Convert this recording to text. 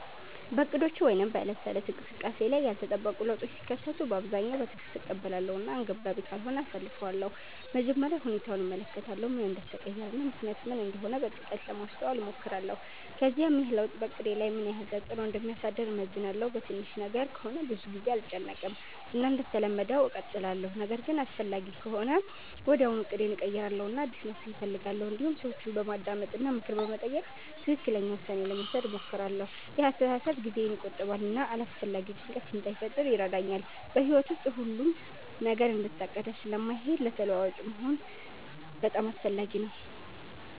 በእቅዶቼ ወይም በዕለት ተዕለት እንቅስቃሴዬ ላይ ያልተጠበቁ ለውጦች ሲከሰቱ በአብዛኛው በትዕግስት እቀበላለሁ እና አንገብጋቢ ካልሆነ አሳልፊቻለሁ መጀመሪያ ሁኔታውን እመለከታለሁ ምን እንደተቀየረ እና ምክንያቱ ምን እንደሆነ በጥልቀት ለማስተዋል እሞክራለሁ ከዚያም ይህ ለውጥ በእቅዴ ላይ ምን ያህል ተፅዕኖ እንደሚያሳድር እመዝናለሁ በትንሽ ነገር ከሆነ ብዙ ጊዜ አልጨነቅም እና እንደተለመደው እቀጥላለሁ ነገር ግን አስፈላጊ ከሆነ ወዲያውኑ እቅዴን እቀይራለሁ እና አዲስ መፍትሔ እፈልጋለሁ እንዲሁም ሰዎችን በማዳመጥ እና ምክር በመጠየቅ ትክክለኛ ውሳኔ ለመውሰድ እሞክራለሁ ይህ አስተሳሰብ ጊዜን ይቆጥባል እና አላስፈላጊ ጭንቀት እንዳይፈጥር ይረዳኛል በሕይወት ውስጥ ሁሉም ነገር እንደታቀደ ስለማይሄድ ተለዋዋጭ መሆን በጣም አስፈላጊ ነው